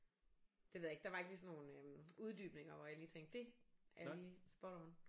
Det ved jeg ikke der var ikke lige sådan nogle øh uddybninger hvor jeg lige tænkte det er lige spot on